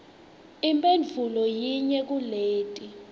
imphendvulo yinye kuleti